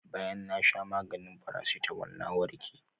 Bayan na sha maganin paracetamol na warke.